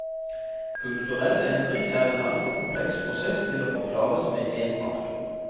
Kulturell endring er en altfor kompleks prosess til å forklares med én faktor.